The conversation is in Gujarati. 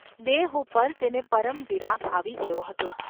દેહ ઉપર તેને પરમ વિરાગ આવી ગયો હતો.